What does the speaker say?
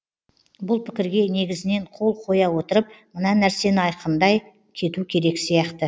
бұл пікірге негізінен қол қоя отырып мына нәрсені айқындай кету керек сияқты